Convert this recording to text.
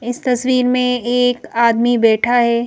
इस तस्वीर में एक आदमी बैठा है।